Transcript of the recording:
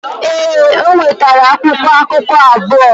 Ee, o nwetara akwụkwọ akụkụ abụọ.